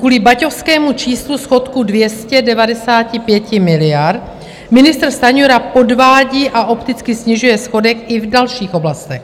Kvůli baťovskému číslu schodku 295 miliard ministr Stanjura podvádí a opticky snižuje schodek i v dalších oblastech.